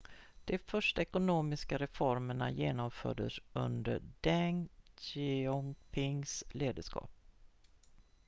de första ekonomiska reformerna genomfördes under deng xiaopings ledarskap